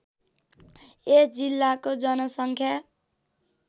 यस जिल्लाको जनसङ्ख्या